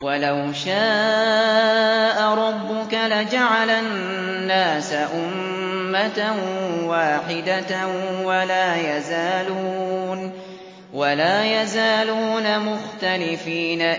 وَلَوْ شَاءَ رَبُّكَ لَجَعَلَ النَّاسَ أُمَّةً وَاحِدَةً ۖ وَلَا يَزَالُونَ مُخْتَلِفِينَ